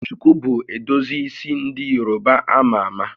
Shuku bụ edozi isi ndị Yoruba a ma ama